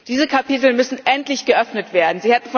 Diese Kapitel müssen endlich geöffnet werden.